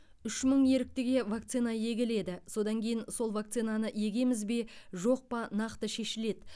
үш мың еріктіге вакцина егіледі содан кейін сол вакцинаны егеміз бе жоқ па нақты шешіледі